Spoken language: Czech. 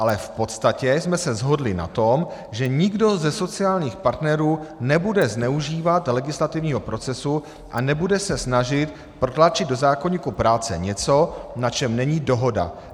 Ale v podstatě jsme se shodli na tom, že nikdo ze sociálních partnerů nebude zneužívat legislativního procesu a nebude se snažit protlačit do zákoníku práce něco, na čem není dohoda.